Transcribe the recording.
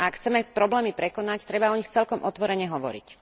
A ak chceme problémy prekonať, treba o nich celkom otvorene hovoriť.